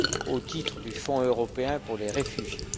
au titre du Fonds européen pour les réfugiés.